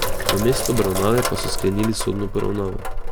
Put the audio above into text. Namesto obravnave pa so sklenili sodno poravnavo.